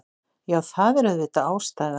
Já, það er auðvitað ástæða.